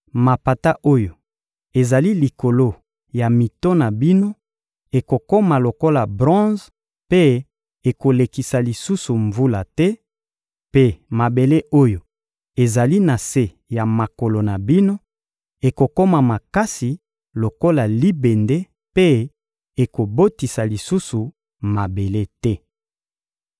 Mapata oyo ezali likolo ya mito na bino ekokoma lokola bronze mpe ekolekisa lisusu mvula te, mpe mabele oyo ezali na se ya makolo na bino ekokoma makasi lokola libende mpe ekobotisa lisusu mabele te.